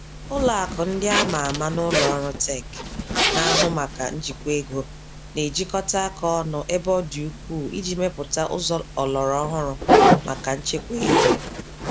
Ụlọakụ ndị a ma ama na ụlọọrụ tech na-ahụ maka njikwa ego, na-ejikọta aka ọnụ ebe ọ dị ukwu iji mepụta ụzọ ọlọrọ ọhụrụ màkà nchekwa ego